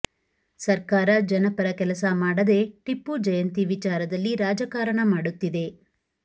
ಸರ್ಕಾರ ಜನಪರ ಕೆಲಸ ಮಾಡದೇ ಟಿಪ್ಪು ಜಯಂತಿ ವಿಚಾರದಲ್ಲಿ ರಾಜಕಾರಣ ಮಾಡುತ್ತಿದೆ